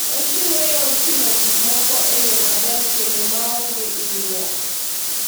Ochiwo yor ting'o gik moko e yo maber kendo maonge hinyruok.